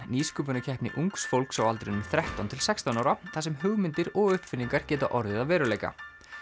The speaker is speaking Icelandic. nýsköpunarkeppni ungs fólks á aldrinum þrettán til sextán ára þar sem hugmyndir og uppfinningar geta orðið að veruleika